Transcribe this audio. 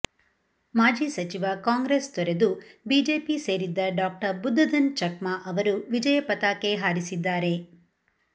ಮಾಜಿ ಸಚಿವ ಕಾಂಗ್ರೆಸ್ ತೊರೆದು ಬಿಜೆಪಿ ಸೇರಿದ್ದ ಡಾಕ್ಟರ್ ಬುದ್ಧ ಧನ್ ಛಕ್ಮಾ ಅವರು ವಿಜಯ ಪತಾಕೆ ಹಾರಿಸಿದ್ದಾರೆ